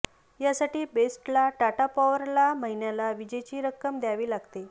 यासाठी बेस्टला टाटा पॉवरला महिन्याला विजेची रक्कम द्यावी लागते